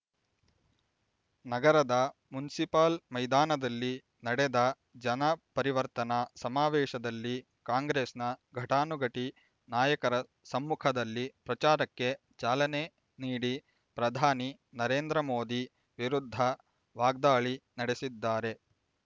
ನಗರದ ಮುನ್ಸಿಪಲ್ ಮೈದಾನದಲ್ಲಿ ನಡೆದ ಜನ ಪರಿವರ್ತನಾ ಸಮಾವೇಶದಲ್ಲಿ ಕಾಂಗ್ರೆಸ್‌ನ ಘಟಾನುಘಟಿ ನಾಯಕರ ಸಮ್ಮುಖದಲ್ಲಿ ಪ್ರಚಾರಕ್ಕೆ ಚಾಲನೆ ನೀಡಿ ಪ್ರಧಾನಿ ನರೇಂದ್ರ ಮೋದಿ ವಿರುದ್ಧ ವಾಗ್ದಾಳಿ ನಡೆಸಿದ್ದಾರೆ